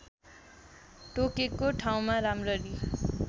टोकेको ठाउँमा राम्ररी